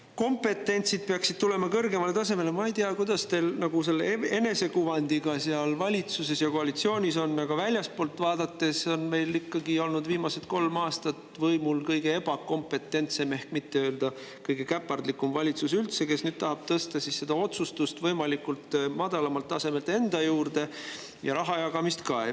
Aga "kompetentsid peaksid tulema kõrgemale tasemele" – ma ei tea, kuidas teil enesekuvandiga seal valitsuses ja koalitsioonis on, aga väljastpoolt vaadates on meil ikkagi olnud viimased kolm aastat võimul kõige ebakompetentsem ehk mitte öelda kõige käpardlikum valitsus üldse, kes nüüd tahab tõsta seda otsustust võimalikult madalalt tasemelt enda juurde ja rahajagamist ka.